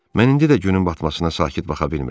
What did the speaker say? Mən indi də günün batmasına sakit baxa bilmirəm.